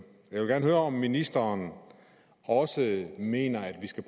jeg vil gerne høre om ministeren også mener at vi skal